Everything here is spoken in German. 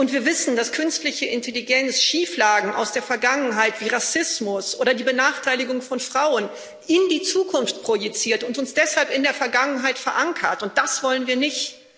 Wir wissen, dass künstliche Intelligenz Schieflagen aus der Vergangenheit wie Rassismus oder die Benachteiligung von Frauen in die Zukunft projiziert und uns deshalb in der Vergangenheit verankert, und das wollen wir nicht.